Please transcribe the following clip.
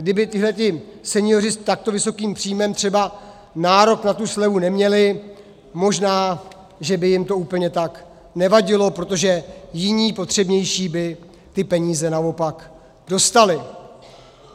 Kdyby tito senioři s takto vysokým příjmem třeba nárok na tu slevu neměli, možná že by jim to úplně tak nevadilo, protože jiní, potřebnější by ty peníze naopak dostali.